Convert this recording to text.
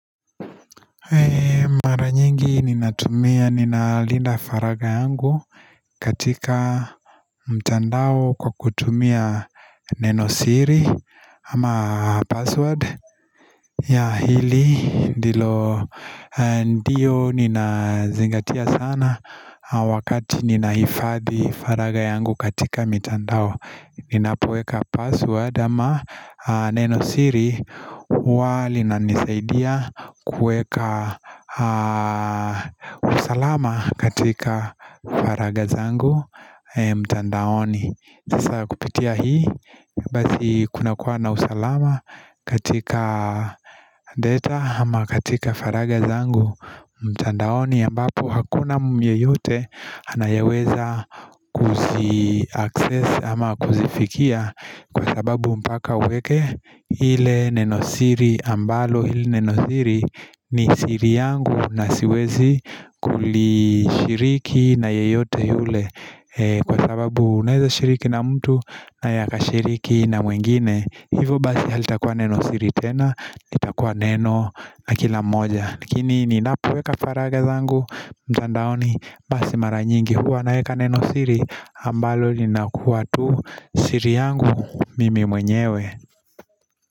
Maranyingi ninatumia ninalinda faragha yangu katika mtandao kwa kutumia nenosiri ama password ya hili ndilo ndio nina zingatia sana wakati ninahifadhi faragha yangu katika mitandao Ninapoweka password ama neno siri huwa lina nisaidia kuweka usalama katika faragha zangu mtandaoni sasa kupitia hii basi kuna kuwa na usalama katika data ama katika faragha zangu mtandaoni ambapo hakuna yeyote anayeweza kuzi access ama kuzifikia Kwa sababu mpaka uweke ile nenosiri ambalo hili nenosiri ni siri yangu na siwezi kulishiriki na yeyote yule kwa sababu unaweza shiriki na mtu naye akashiriki na mwingine hivo basi halitakuwa neno siri tena litakuwa neno la kila mmoja lakini ninapoweka faragha zangu basi mara nyingi huwa naweka neno siri ambalo linakuwa tu siri yangu mimi mwenyewe.